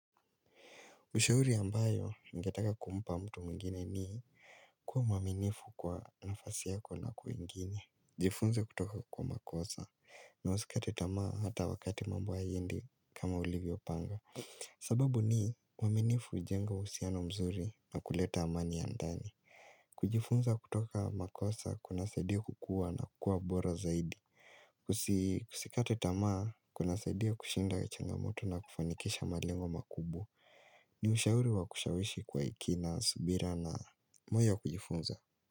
Ushauri ambayo, ningetaka kumpa mtu mwingine ni kuwa mwaminifu kwa nafasi yako na kwingini. Jifunze kutoka kwa makosa na usikate tamaa hata wakati mambo hayaendi kama ulivyopanga. Sababu ni mwaminifu hujenga uhusiano mzuri na kuleta amani ya ndani. Kujifunza kutoka kwa makosa kunasaidi kukua na kuwa bora zaidi. Usikate tamaa kunasaidi kushinda kachangamoto na kufanikisha malengo makubwa. Ni ushauru wa kushawishi kwa kina, subira na moyo wa kujifunza.